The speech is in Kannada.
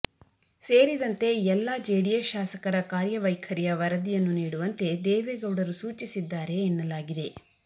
ಸೇರಿದಂತೆ ಎಲ್ಲ ಜೆಡಿಎಸ್ ಶಾಸಕರ ಕಾರ್ಯವೈಖರಿಯ ವರದಿಯನ್ನು ನೀಡುವಂತೆ ದೇವೇಗೌಡರು ಸೂಚಿಸಿದ್ದಾರೆ ಎನ್ನಲಾಗಿದೆ